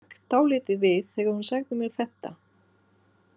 Ég hrökk dálítið við þegar hún sagði mér þetta.